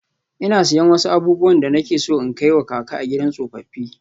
Ina siyan wasu abubuwan da nake so in kai wa kaka a gidan tsofaffi.